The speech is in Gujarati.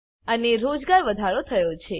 અને રોજગાર વધારો થયો છે